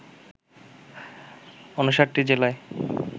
৫৯ জেলায়